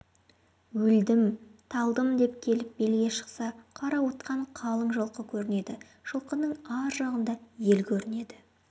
өлдім-талдым деп келіп белге шықса қарауытқан қалың жылқы көрінеді жылқының ар жағында ел көрінеді